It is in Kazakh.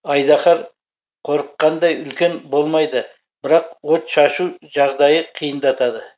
айдаһар қорыққандай үлкен болмайды бірақ от шашу жағдайы қиындатады